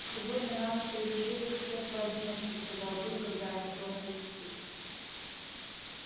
сегодня на ночь привяжу их всех поодиночке сказал билл когда они тронулись в путь